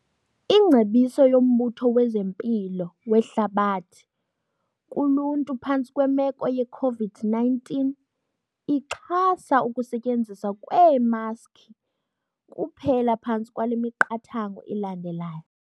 Ingcebiso yoMbutho wezeMpilo weHlabathi kuluntu phantsi kwemeko ye-COVID-19 ixhasa ukusetyenziswa kweemaski kuphela phantsi kwale miqathango ilandelayo.